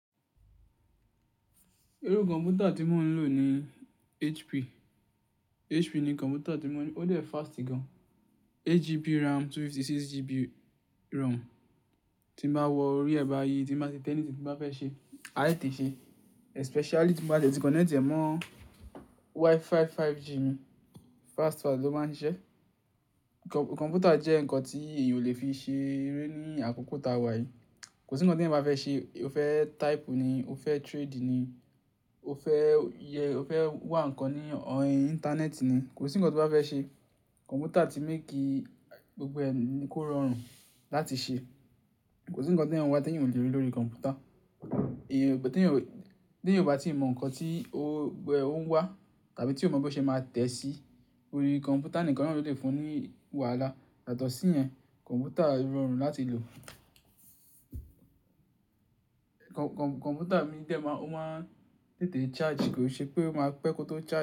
Irú kọ̀m̀pútà tí mò ń lò ni HP. HP ni kọ̀m̀pútà tí mó ń lò, ó dẹ́ fast gan-an, 8GB RAM, 256GB ROM. Tí mo bá wọ orí ẹ̀bà yìí, tí mo bá ti tẹ anything tí mo bá fẹ́ ṣe, àá tètè ṣe é, especially tí mo bá ti è ti connect ẹ̀ mọ́ Wi-Fi 5G mi, fast fast lọ́ máa ń ṣiṣẹ́. Kọ̀m̀pútà jẹ́ nǹkan tí èèyàn ò lè fi ṣe eré ní àkókò ta wà yìí. Kò sí nǹkan tí èèyàn bá fẹ́ ṣe, o fẹ́ type ni, o fẹ́ trade ni, o fẹ́ wà nǹkan ní íńtánẹ́ẹ̀tì ni, kò sí nǹkan tí o bá fẹ́ ṣe kọ̀m̀pútà ti make gbogbo ni kó rọrùn láti ṣe. Kò sí nǹkan tí èèyàn ń wá tí èèyàn ò le rí lórí kọ̀m̀pútà. Tí ẹni ọba ti mọ nǹkan tí ó ń wà tàbí tí ò mọ bí ó ṣe máa tẹ̀ sí orí kọ̀m̀pútà nìkan náà ló lè fún ní wàhálà. Yàtọọ̀ṣí ìyẹn, kọ̀m̀pútà rọrùn láti lò. Kọ̀m̀pútà mi dẹ́ má n, ó máa ń tètè charge, kò ṣe pé ó máa pẹ́ kó tó charge.